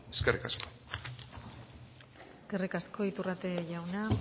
eskerrik asko eskerrik asko iturrate jauna